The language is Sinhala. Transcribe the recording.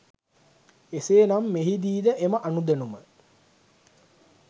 එසේනම් මෙහිදීද එම අනුදැනුම